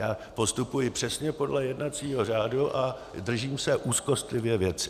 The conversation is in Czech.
Já postupuji přesně podle jednacího řádu a držím se úzkostlivě věci.